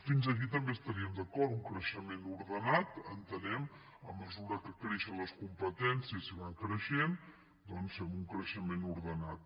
fins aquí també hi estaríem d’acord un creixement ordenat entenem a mesura que creixen les competències si van creixent doncs fem un creixement ordenat